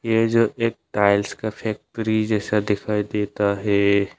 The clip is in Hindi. ये जो एक टाइल्स का फैक्ट्री जैसा दिखाई देता है।